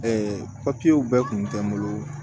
bɛɛ kun tɛ n bolo